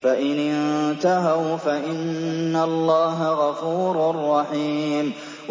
فَإِنِ انتَهَوْا فَإِنَّ اللَّهَ غَفُورٌ رَّحِيمٌ